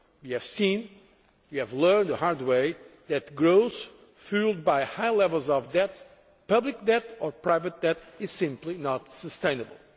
We have seen, we have learned the hard way, that growth fuelled by high levels of debt, public debt or private debt, is simply not sustainable.